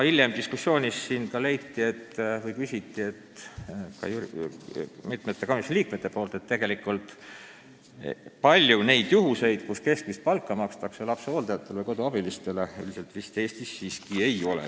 Hilisemas diskussioonis leidsid mitmed komisjoni liikmed, et üldiselt vist Eestis siiski ei ole palju neid juhuseid, kus lapsehoidjatele ja koduabilistele keskmist palka makstakse.